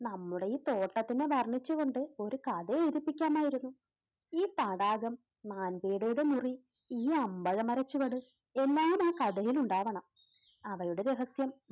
നമ്മുടെ ഈ തോട്ടത്തിനെ വർണ്ണിച്ചുകൊണ്ട് ഒരു കഥഎഴുതിപ്പിക്കാമായിരുന്നു. ഈ തടാകം, മാൻപേടയുടെ മുറി, ഈ അമ്പഴ മര ചുവട് എല്ലാം ആ കഥയിൽ ഉണ്ടാവണം. അവളുടെ രഹസ്യം,